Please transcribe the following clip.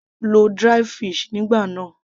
lo dried fish nígbà náà